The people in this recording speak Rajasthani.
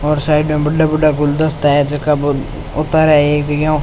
और साइड मे बड़ा बड़ा गुलदस्ता है जैको वो उतार एक जगह ऊ --